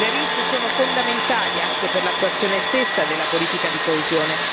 Le RIS sono fondamentali anche per l'attuazione stessa della politica di coesione.